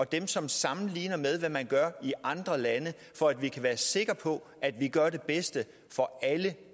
dem som sammenligner hvad man gør i andre lande for at vi kan være sikre på at vi gør det bedste for alle